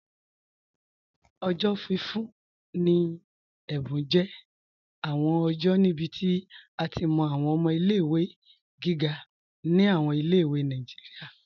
Ọjọ́ fífún ni è̩bùn jẹ́ awọn ọjọ́ níbí tí a ti mọ́ awọn ọmọ̀ ilé-ìwé gígà ni awọn ilé-ìwé Nàìjíríà.